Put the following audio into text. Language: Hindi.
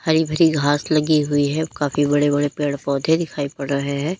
हरी भरी घास लगी हुई है काफी बड़े बड़े पेड़ पौधे दिखाई पड़ रहे हैं।